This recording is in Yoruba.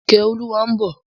Ìkẹ́olúwa ń bọ̀.